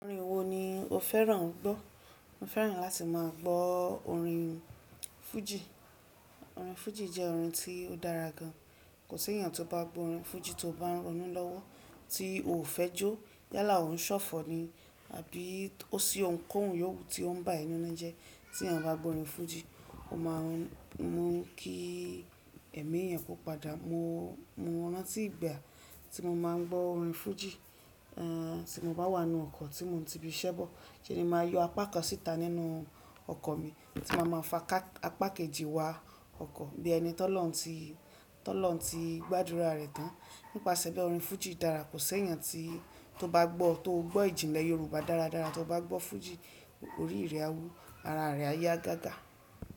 Orin wo ni o fẹ́ràn gbọ́? Mo fẹ́ràn láti máa gbọ́ orin fújì. Orin fújì jẹ́ orin tí ó dára gan. Kò sí èèyàn tó bá gbọ́ orin fújì tó bá ń ronú lọ́wọ́ tí ò fẹ́ jó yálà ò ń ṣọ̀fọ̀ ni àbí ó sì ọ̀ ń kọ́ òun yówú tí ó ń bá e ninu jẹ. Tí èèyàn bá gbọ́ orin fújì, ó máa ń mú kí ẹ̀mí ẹni yẹn kó padà. Mo, mo rántí ìgbà tí mo máa ń gbọ́ orin fújì, eh tí mo bá wà nínú ọkọ̀ tí mo ti bi ìṣẹ́ bọ̀, seni màá yọ apá kan síta nínú ọkọ̀ mi tí màá máa fa apá kejì wá ọkọ̀ bí ẹni tó lọ́hun tí, tó lọ́hun tí gbádúrà rẹ̀ tán. Nípasẹ̀ be orin fújì dára. Kò sí èèyàn tí tó bá gbọ́, tó gbọ́ ìjìnlẹ̀ Yorùbá dáradára tí ó bá gbọ́ fújì, orí rẹ̀ á wu, ara rẹ̀ á yá gágá.